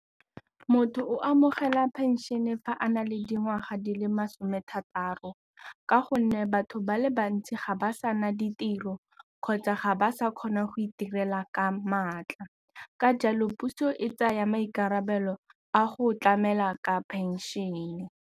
Motho o amogela pension-e fa a na le dingwaga di le masome a thataro ka gonne batho ba le bantsi ga ba sa na ditiro kgotsa ga ba sa kgona go itirela ka maatla ka jalo puso e tsaya maikarabelo a go tlamela ka phenšene.